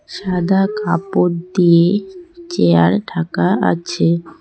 সাদা কাপড় দিয়ে চেয়ার ঢাকা আছে।